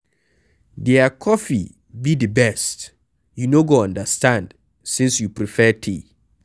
Their coffee be the best, you no go understand since you prefare tea.